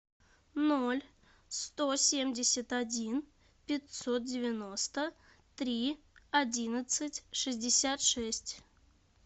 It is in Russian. ноль сто семьдесят один пятьсот девяносто три одиннадцать шестьдесят шесть